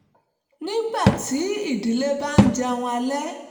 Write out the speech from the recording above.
nígbà tí ìdílé bá ń jẹun alẹ́